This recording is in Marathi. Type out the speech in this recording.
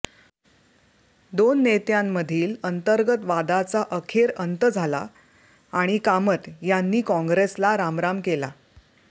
दोन नेत्यांमधील अंतर्गत वादाचा अखेर अंत झाला आणि कामत यांनी कॉंग्रेसला रामराम केला